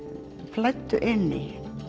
flæddu inn í